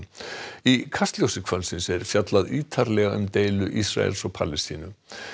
í Kastljósi kvöldsins er fjallað ítarlega um deilu Ísraels og Palestínu